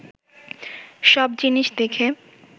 সব জিনিস দেখে